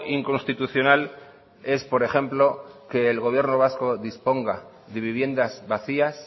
inconstitucional es por ejemplo que el gobierno vasco disponga de viviendas vacías